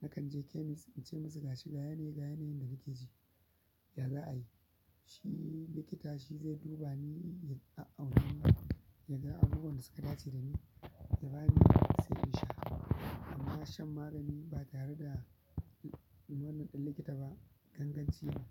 Nakan je chemist in ce musu gashi ga yanayi ne, ga yanayin da nake ji ya za a yi. Shi likita shi zai duba ni, ya a'auna ni, ya ga abubuwan da suka dace da ni, ya bani, sai in sha. Amma shan magani ba tare da umarnin ɗan likita ba, ganganci ne.